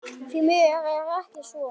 Því miður er ekki svo.